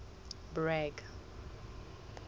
bragg